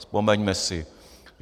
Vzpomeňme si.